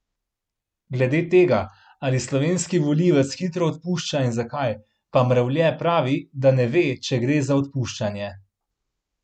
Glede tega, ali slovenski volivec hitro odpušča in zakaj, pa Mrevlje pravi, da ne ve, če gre za odpuščanje.